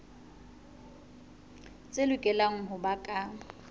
tse lokelang ho ba ka